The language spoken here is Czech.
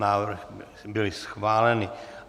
Návrhy byly schváleny.